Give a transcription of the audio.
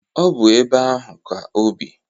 Ọ bụ ebe ahụ ka obi.